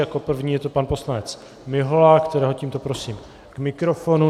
Jako první je to pan poslanec Mihola, kterého tímto prosím k mikrofonu.